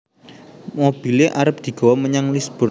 Mobile arep digowo menyang Lisburn